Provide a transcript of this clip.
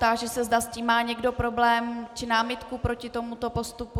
Táži se, zda s tím má někdo problém či námitku proti tomuto postupu.